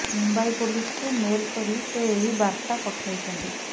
ମୁମ୍ବାଇ ପୋଲିସକୁ ମେଲ୍ କରି ସେ ଏହି ବାର୍ତ୍ତା ପଠାଇଛନ୍ତି